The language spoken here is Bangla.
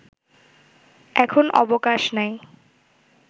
এখন অবকাশ নাই